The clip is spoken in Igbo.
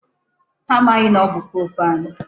Ha amaghị na ọ bụ pope anyị.